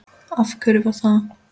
Af hverju var það?